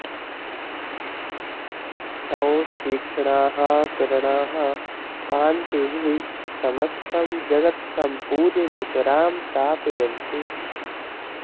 तव तीक्ष्णाः किरणाः कान्तिभिः समस्तं जगत् सम्पूर्य नितरां तापयन्ति